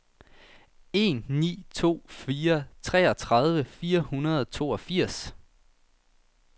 en ni to fire treogtredive fire hundrede og toogfirs